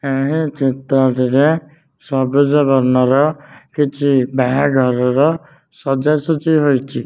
ଏହିଁ ଚିତ୍ରଟିରେ ସବୁଜ ବର୍ଣ୍ଣର କିଛି ବାହାଘରର ସଜା ସଜି ହୋଇଛି।